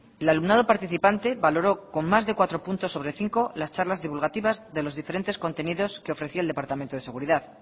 el alumnado participante valoró con más de cuatro puntos sobre cinco las charlas divulgativas de los diferentes contenidos que ofrecía el departamento de seguridad